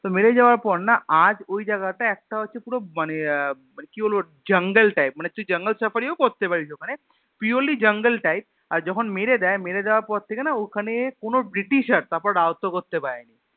তো মেরে যাওয়ার পর না আজ ঐ জায়গা টা একটা হচ্ছে পুরো মানে আহ কি বলবো জঙ্গল Type মানে তুই জঙ্গল Safari ও করতে পারিস ওখানে Purely jungle type আর যখন মেরে দেয় মেরে দেয়ার পর থেকে না ওখানে কোনো British আর তারপর রাজ্যত করতে পারেনি